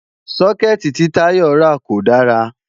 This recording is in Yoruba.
Sókẹ̀tì tí Táyọ̀ rà kò dára